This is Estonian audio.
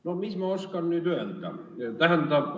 No mis ma oskan nüüd öelda?